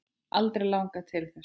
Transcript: Aldrei langað til þess.